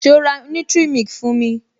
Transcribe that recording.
So ra nutric milk fún mi?